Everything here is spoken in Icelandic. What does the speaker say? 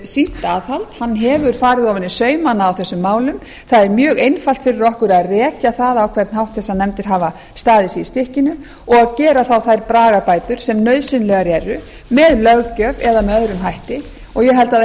sýnt aðhald hann hefur farið ofan í saumana á þessum málum það er mjög einfalt fyrir okkur að rekja það hvernig þessar nefndir hafa staðið sig í stykkinu og gera þá þær bragarbætur sem nauðsynlegar eru með löggjöf eða með öðrum hætti og ég held að það